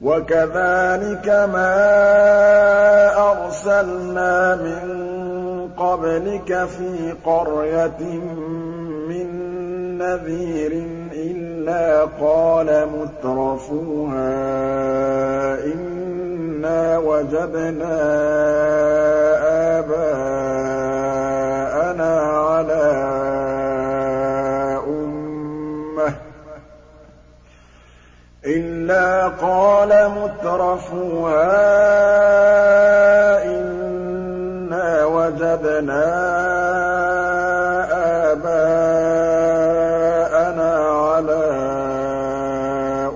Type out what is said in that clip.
وَكَذَٰلِكَ مَا أَرْسَلْنَا مِن قَبْلِكَ فِي قَرْيَةٍ مِّن نَّذِيرٍ إِلَّا قَالَ مُتْرَفُوهَا إِنَّا وَجَدْنَا آبَاءَنَا عَلَىٰ